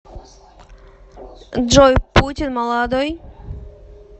джой путин молодой